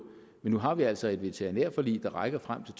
men nu har vi altså et veterinærforlig der rækker frem til